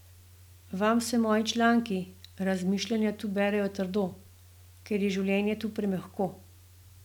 Vam se moji članki, razmišljanja tu berejo trdo, ker je življenje tu premehko.